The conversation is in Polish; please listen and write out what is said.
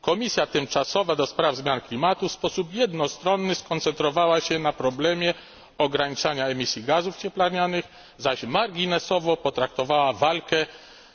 Komisja tymczasowa do spraw zmian klimatu w sposób jednostronny skoncentrowała się na problemie ograniczania emisji gazów cieplarnianych, zaś marginesowo potraktowała walkę